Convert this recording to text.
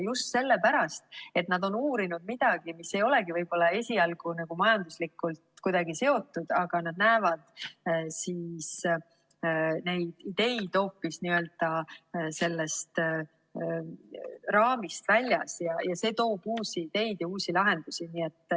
Just sellepärast, et nad on uurinud midagi, mis ei olegi võib-olla esialgu majandusega kuidagi seotud, aga nad näevad neid ideid hoopis n‑ö raamist väljas ja see toob uusi ideid ja uusi lahendusi.